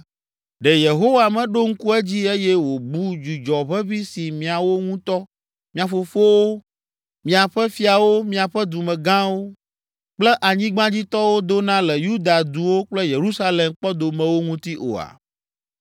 “Ɖe Yehowa meɖo ŋku edzi eye wòbu dzudzɔ ʋeʋĩ si miawo ŋutɔ, mia fofowo, miaƒe fiawo, miaƒe dumegãwo kple anyigbadzitɔwo dona le Yuda duwo kple Yerusalem kpɔdomewo ŋuti oa?